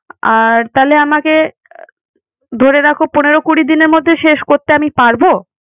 আর তাহলে আমাকে ধরে রাখো, পনেরো কুড়ি দিনের মধ্যে শেষ করতে আমি পারব?